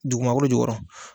Dugumakolo jukɔrɔ.